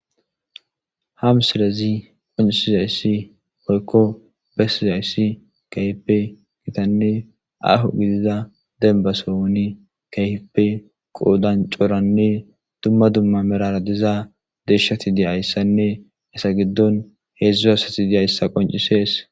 Ham silezi qoncisizayssi poykko bessizayssi kaype gitanne ahu gidiza denbasowoni kayhipe qoodan coranne dumma dumma merara diza deshshati diyayssanne esa giddon heedzdzu hasati diyayssa qoncisees.